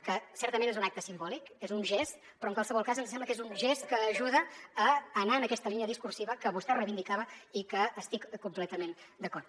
que certament és un acte simbòlic és un gest però en qualsevol cas ens sembla que és un gest que ajuda a anar en aquesta línia discursiva que vostè reivindicava i que hi estic completament d’acord